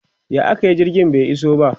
ya akayi jirgin bai iso ba?